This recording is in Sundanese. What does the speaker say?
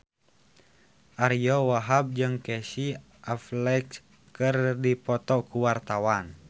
Ariyo Wahab jeung Casey Affleck keur dipoto ku wartawan